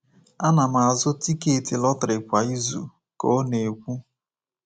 Ana m azụ tiketi lọtrị kwa izu,” ka ọ na-ekwu.